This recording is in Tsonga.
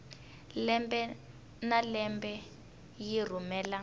lembe na lembe yi rhumela